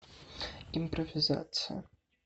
импровизация